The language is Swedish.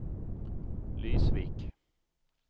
Lysvik